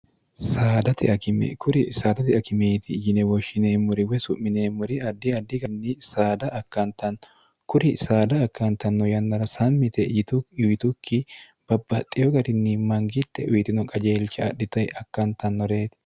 kuri saadate akimeeti yine woshshineemmori we su'mineemmori addi addi garinni saada akkantanno kuri saada akkantanno yannara sammi yite yitukki babbaxxiyo garinni mangitte uyitino qajeelsha adhitayi akkantannoreeti